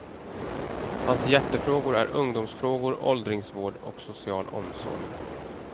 Hans hjärtefrågor är ungdomsfrågor, åldringsvård och social omsorg.